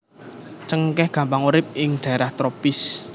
Cengkèh gampang urip ing dhaerah tropis